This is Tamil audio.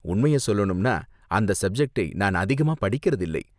உண்மைய சொல்லணும்னா, அந்த சப்ஜெக்டை நான் அதிகமா படிக்கிறதில்லை.